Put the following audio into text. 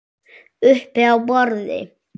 Uppi á borði?